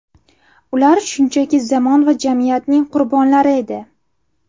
Ular shunchaki zamon va jamiyatning qurbonlari edi.